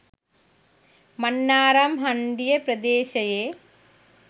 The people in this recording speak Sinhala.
මන්නාරම් හන්දිය ප්‍රදේශයේ